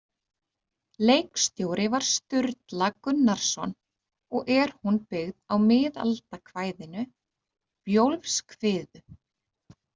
Leikstjóri var Sturla Gunnarsson og er hún byggð á miðaldakvæðinu Bjólfskviðu.